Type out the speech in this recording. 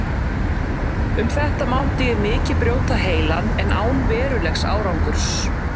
Um þetta mátti ég mikið brjóta heilann, en án verulegs árangurs.